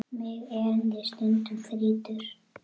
Mig erindið stundum þrýtur.